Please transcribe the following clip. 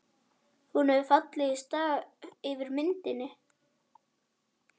Hún hefur fallið í stafi yfir myndinni.